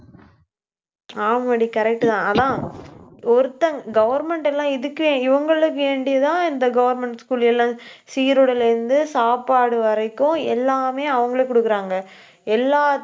ஆமாடி correct தான் ஆனா ஒருத்தன் government எல்லாம் இதுக்கே இவங்களுக்கு வேண்டியதான், இந்த government school எல்லாம், சீருடையில இருந்து, சாப்பாடு வரைக்கும், எல்லாமே அவங்களே கொடுக்குறாங்க. எல்லா~